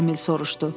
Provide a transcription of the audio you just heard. Emil soruşdu.